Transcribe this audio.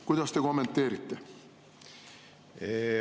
Kuidas te seda kommenteerite?